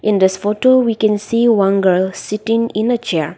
in this photo we can see one girl sitting in a chair.